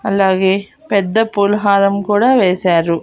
అలాగే పెద్ద పుల్హారం కూడా వేశారు.